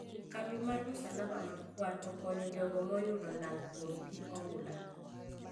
Kambi mar msalaba ma kwar okonyo jogo moyudo lal kuom pii oula